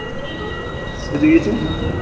પછી શું?